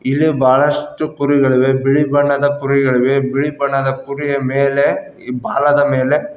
ಇಲ್ಲಿ ಬಹಳಷ್ಟು ಕುರಿಗಳಿವೆ ಬಿಳಿ ಬಣ್ಣದ ಕುರಿಗಳಿವೆ ಬಿಳಿ ಬಣ್ಣದ ಕುರಿಯ ಮೇಲೆ ಇ ಬಾಲದ ಮೇಲೆ--